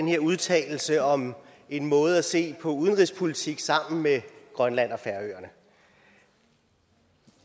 her udtalelse om måden at se på udenrigspolitik sammen med grønland og færøerne